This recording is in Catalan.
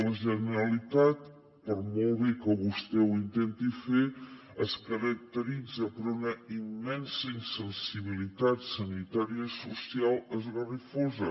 la generalitat per molt bé que vostè ho intenti fer es caracteritza per una immensa insensibilitat sanitària i social esgarrifosa